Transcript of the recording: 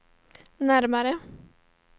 närmare